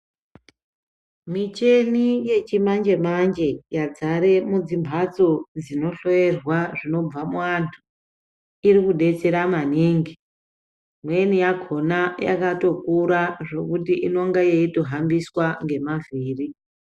Michina yechimanje manje yadzara mudzi mbatso dzinohloirwa zvinobva muvantu iri kudetserwa maningu imweni yakona yakatokura zvekuti inonga yeitohambiswa ngemavhiri.